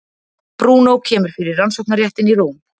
Brúnó kemur fyrir Rannsóknarréttinn í Róm.